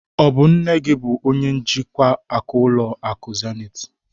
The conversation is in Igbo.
Ọ bụ nne gị bụ onye njikwa akụ n'ụlọ akụ Zenith?